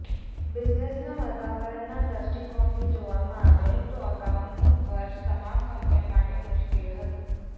બિઝનેસના વાતાવરણના દષ્ટિકોણથી જોવામાં આવે તો અગાઉનું વર્ષ તમામ કંપનીઓ માટે મુશ્કેલ હતું